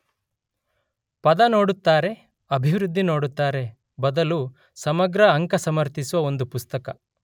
ಪದ ನೋಡುತ್ತಾರೆ ಅಭಿವೃದ್ಧಿ ನೋಡುತ್ತಾರೆ ಬದಲು ಸಮಗ್ರ ಅಂಕ ಸಮರ್ಥಿಸುವ ಒಂದು ಪುಸ್ತಕ